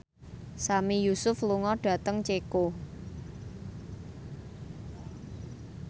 Sami Yusuf lunga dhateng Ceko